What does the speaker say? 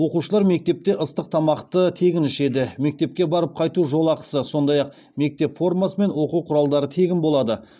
оқушылар мектепте ыстық тамақты тегін ішеді мектепке барып қайту жолақысы сондай ақ мектеп формасы мен оқу құралдары тегін болады